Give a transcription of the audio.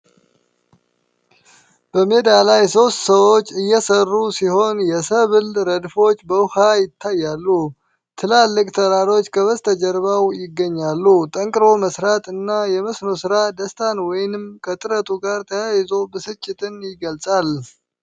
በሜዳ ላይ ሶስት ሰዎች እየሰሩ ሲሆን፣ የሰብል ረድፎች በውሃ ይታያሉ። ትላልቅ ተራሮች ከበስተጀርባው ይገኛሉ። ጠንክሮ መሥራት እና የመስኖ ሥራ ደስታን ወይም ከጥረቱ ጋር ተያይዞ ብስጭትን ይገልጻል።